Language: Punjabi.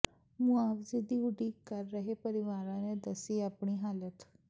ਮੁਆਵਜ਼ੇ ਦੀ ਉਡੀਕ ਕਰ ਰਹੇ ਪਰਿਵਾਰਾਂ ਨੇ ਦੱਸੀ ਆਪਣੀ ਹਾਲਤ